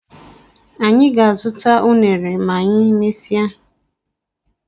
Anyị ga- azụta unere ma anyị mmesia